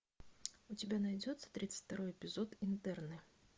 у тебя найдется тридцать второй эпизод интерны